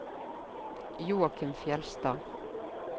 Joachim Fjeldstad